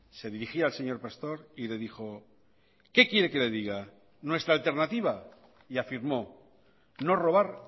se dirigía al señor pastor y le dijo qué quiere que le diga nuestra alternativa y afirmó no robar